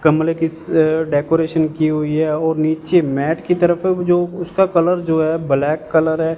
गमले के इस डेकोरेशन की हुई है और नीचे मैट की तरफ जो उसका कलर जो है ब्लैक कलर है।